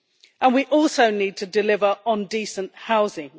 And we also need to deliver on decent housing.